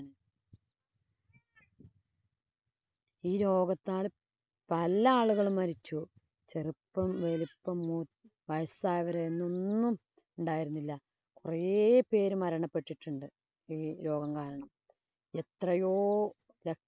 ഈ രോഗത്താല്‍ പല ആളുകളും മരിച്ചു. ചെറുപ്പം, വലിപ്പം, മൂത്~ വയസ്സായവര്, എന്നൊന്നും ഉണ്ടായിരുന്നില്ല. കൊറേ പേര് മരണപ്പെട്ടിട്ടുണ്ട് ഈ രോഗം കാരണം. എത്രയോ ല~